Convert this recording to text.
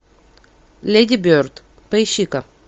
леди берд поищи ка